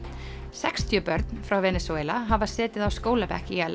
sextíu börn frá Venesúela hafa setið á skólabekk í Al